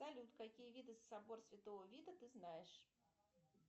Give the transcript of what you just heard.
салют какие виды собор святого вида ты знаешь